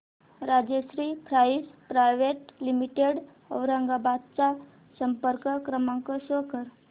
Rajshri pipes private limited Aurangabad चा संपर्क क्रमांक शो कर